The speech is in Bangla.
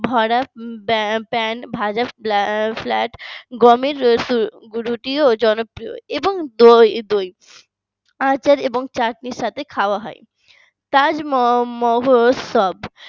flat ভাজা pan গমের রুটি ও জনপ্রিয় এবং দই আচার এবং চাটনির সাথে খাওয়া হয়। তাজমহোৎসব